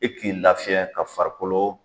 E k'i lafiyɛn ka farikolo